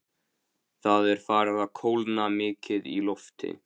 Það er farið að kólna mikið í lofti.